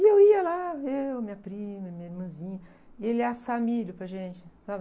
E eu ia lá, eu, minha prima e minha irmãzinha, e ele ia assar milho para gente, sabe?